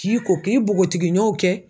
K'i ko k'i npogotigiɲɔw kɛ